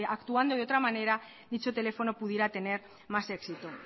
actuando de otra manera dicho teléfono pudiera tener más éxito